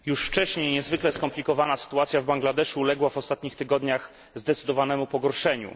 Już wcześniej niezwykle skomplikowana sytuacja w Bangladeszu uległa w ostatnich tygodniach zdecydowanemu pogorszeniu.